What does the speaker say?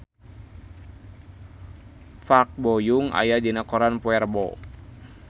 Park Bo Yung aya dina koran poe Rebo